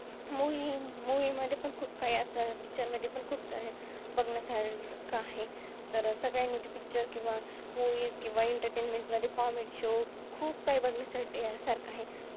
Movie अं Movie movie मध्ये पण खूप काही असं Picture मध्ये पण खूप सारे बघण्यासारखे आहे तर सगळ्यांनी ती Picture किंवा Movies किंवा Entertainment मध्ये Comedy show खूप काही बघण्यासाठी सारखं आहे.